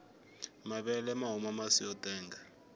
mavele mahuma masi motenga